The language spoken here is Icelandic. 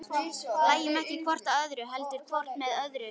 Hlæjum ekki hvort að öðru, heldur hvort með öðru.